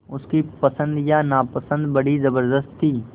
उसकी पसंद या नापसंदगी बड़ी ज़बरदस्त थी